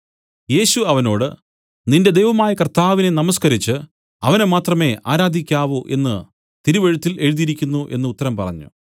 യേശു അവനോട് നിന്റെ ദൈവമായ കർത്താവിനെ നമസ്കരിച്ചു അവനെ മാത്രമേ ആരാധിക്കാവൂ എന്നു തിരുവചനത്തിൽ എഴുതിയിരിക്കുന്നു എന്നു ഉത്തരം പറഞ്ഞു